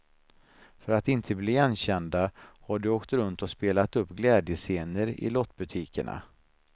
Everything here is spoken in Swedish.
För att inte bli igenkända har de åkt runt och spelat upp glädjescener i lottbutikerna.